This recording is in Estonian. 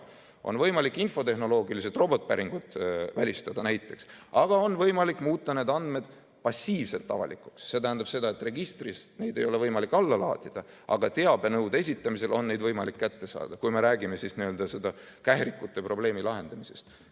On näiteks võimalik infotehnoloogiliselt robotpäringud välistada, aga on võimalik ka muuta need andmed passiivselt avalikuks, see tähendab seda, et registrist neid ei ole võimalik alla laadida, aga teabenõude esitamisel on neid võimalik kätte saada, kui me räägime n-ö kährikute probleemi lahendamisest.